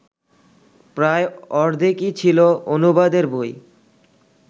প্রায় অর্ধেকই ছিল অনুবাদের বই